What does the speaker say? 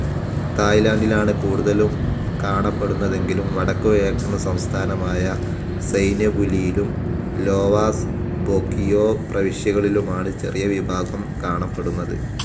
തായ്ലാൻഡിലാണ് കൂടുതലും കാണപ്പെടുന്നതെങ്കിലും വടക്കുകിഴക്കൻ സംസ്ഥാനമായ സൈന്യബുലിയിലും ലോവാസ് ബോകിയോപ്രവിശ്യകളിലുമാണ് ചെറിയ വിഭാഗം കാണപ്പെടുന്നത്.